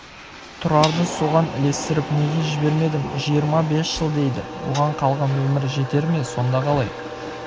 тұрарды соған ілестіріп неге жібермедім жиырма бес жыл дейді оған қалған өмір жетер ме сонда қалай